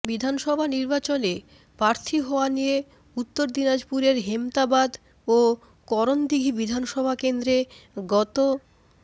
বিধানসভা নির্বাচনে প্রার্থী হওয়া নিয়ে উত্তর দিনাজপুরের হেমতাবাদ ও করণদিঘি বিধানসভা কেন্দ্রে গত